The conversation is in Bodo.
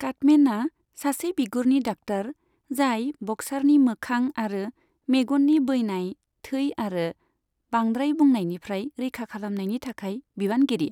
काटमेनआ सासे बिगुरनि डाक्टार जाय ब'क्सारनि मोखां आरो मेगननि बैनाय, थै आरो बांद्राय बुनायनिफ्राय रैखा खालामनायनि थाखाय बिबानगिरि।